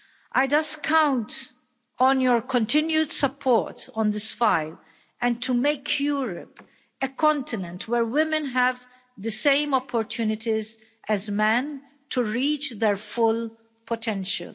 I count on your continued support on this file and to make Europe a continent where women have the same opportunities as men to reach their full potential.